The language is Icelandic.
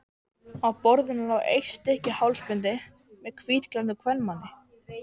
Á borðinu lá eitt stykki hálsbindi með hvítklæddum kvenmanni.